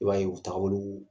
I b'a ye u taga bolow